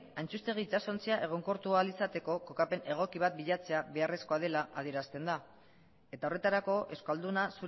antxustegi itsasontzia egonkortu ahal izateko kokapen ego bat bilatzea beharrezkoa dela adierazten da eta horretarako euskalduna